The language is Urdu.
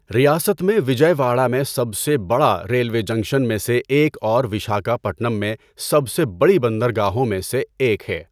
ریاست میں وجئے واڑہ میں سب سے بڑا ریلوے جنکشن میں سے ایک اور وشاکھاپٹنم میں سب سے بڑی بندرگاہوں میں سے ایک ہے۔